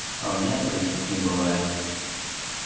а у меня других не бывает